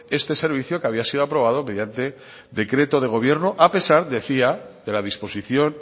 este servicio que había sido aprobado mediante decreto de gobierno a pesar decía de la disposición